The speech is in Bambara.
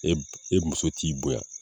E b e muso t'i bonya